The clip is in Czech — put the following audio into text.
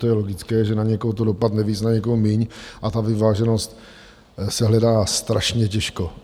To je logické, že na někoho to dopadne víc, na někoho míň, a ta vyváženost se hledá strašně těžko.